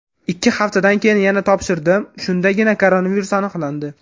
Ikki haftadan keyin yana topshirdim, shundagina koronavirus aniqlandi.